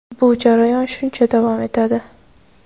bu jarayon shuncha davom etadi.